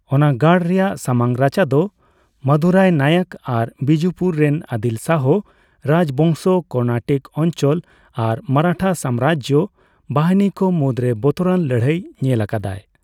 ᱚᱱᱟ ᱜᱟᱲ ᱨᱮᱱᱟᱜ ᱥᱟᱢᱟᱝ ᱨᱟᱪᱟ ᱫᱚ ᱢᱟᱫᱩᱨᱟᱭ ᱱᱟᱭᱚᱠ ᱟᱨ ᱵᱤᱡᱯᱩᱨ ᱨᱮᱱ ᱟᱫᱤᱞ ᱥᱟᱦᱚ ᱨᱟᱡᱵᱚᱝᱥᱚ, ᱠᱚᱨᱱᱟᱴᱤᱠ ᱚᱧᱪᱚᱞ ᱟᱨ ᱢᱟᱨᱟᱴᱷᱟ ᱥᱟᱢᱨᱟᱡᱡᱚ ᱵᱟᱦᱤᱱᱤ ᱠᱚ ᱢᱩᱫᱨᱮ ᱵᱚᱛᱚᱨᱟᱱ ᱞᱟᱹᱲᱦᱟᱹᱭ ᱧᱮᱞ ᱟᱠᱟᱫᱟᱭ ᱾